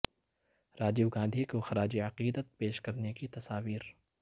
راجیو گاندھی کو خراج عقیدت پیش کرنے کی تصاویر